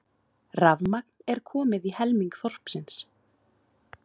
Rafmagn er komið í helming þorpsins